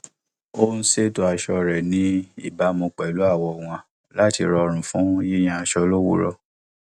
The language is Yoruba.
ó ń ṣètò aṣọ rẹ ní ìbámu pẹlú àwọ wọn láti rọrùn fún yíyan aṣọ lówùúrọ